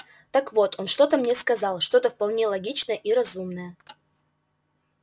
так вот он что-то мне сказал что-то вполне логичное и разумное